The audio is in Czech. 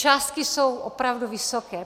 Částky jsou opravdu vysoké.